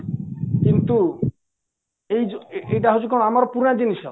କିନ୍ତୁ ଏଇଯୋଉ ଏଇଟା ହଉଚି କ'ଣ ପୁରୁଣା ଜିନିଷ